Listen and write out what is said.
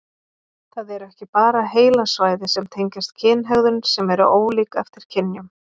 Það eru ekki bara heilasvæði sem tengjast kynhegðun sem eru ólík eftir kynjum.